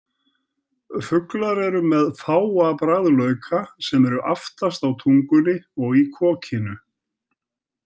Fuglar eru með fáa bragðlauka sem eru aftast á tungunni og í kokinu.